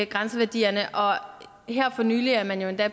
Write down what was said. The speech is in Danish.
grænseværdierne her for nylig er man jo endda